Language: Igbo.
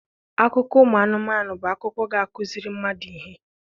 Akụkọ ụmụ anụmanụ bụ akụkọ ga-akuziri mmadụ ihe.